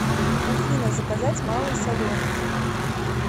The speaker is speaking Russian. афина заказать малый соленый